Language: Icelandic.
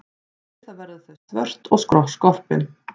Við það verða þau svört og skorpin.